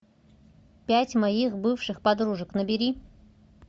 пять моих бывших подружек набери